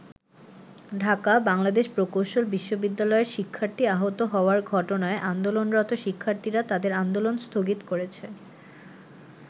ঢাকা: বাংলাদেশ প্রকৌশল বিশ্ববিদ্যালয়ের শিক্ষার্থী আহত হওয়ার ঘটনায় আন্দোলনরত শিক্ষার্থীরা তাদের আন্দোলন স্থগিত করেছে।